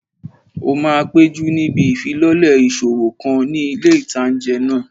Ó máa péjú níbi ìfilọ́lẹ̀ ìṣòwò kan ní ilé ìtánjẹ náà